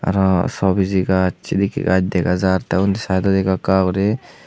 aro so biji gaj sidikke gaj dega jaar te undi saidodi ekka ekka guri.